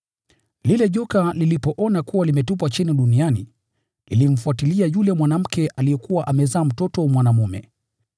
Lile joka lilipoona kuwa limetupwa chini duniani, lilimfuatilia yule mwanamke aliyekuwa amezaa mtoto mwanaume.